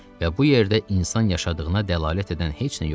Və bu yerdə insan yaşadığına dəlalət edən heç nə yoxdur.